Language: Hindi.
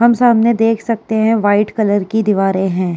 हम सामने देख सकते है। व्हाइट कलर की दीवारे है।